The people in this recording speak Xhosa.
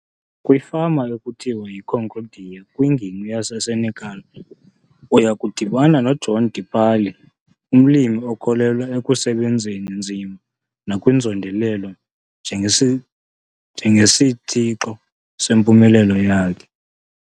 Kwifama ekuthiwa yi-Concordia kwingingqi yaseSenekal, uya kudibana noJohn Dipali, umlimi okholelwa ekusebenzeni nzima nakwinzondelelo njengesitshixo sempumelelo yakhe.